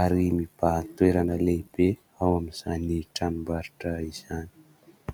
ary mibahan-toerana lehibe ao amin'izany tranombarotra izany